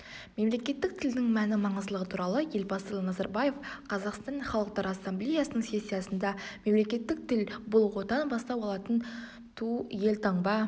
мемлекеттік тілдің мәні маңыздылығы туралы елбасы назарбаев қазақстан халықтары ассамблеясының сессиясында мемлекеттік тіл бұл отан бастау алатын ту елтаңба